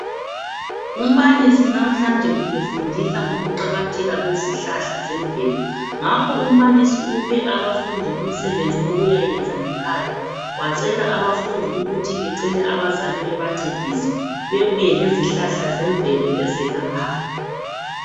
Umbalisi namhlanje ubefundisa ngokuqakatheka kwezihlahla zemvelo. Ngakho umbalisi uphe abafundi umsebenzi wokuyakwenza ngekhaya. Wacela abafundi ukuthi becele abazali bebancedise bebuye lezihlahla zemvelo ezelaphayo.